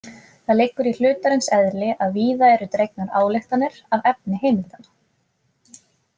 Það liggur í hlutarins eðli að víða eru dregnar ályktanir af efni heimildanna.